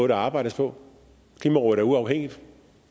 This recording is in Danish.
der arbejdes på klimarådet er uafhængigt